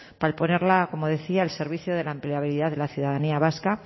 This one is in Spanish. para ponerla como decía al servicio de la empleabilidad de la ciudadanía vasca